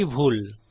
এটি ভুল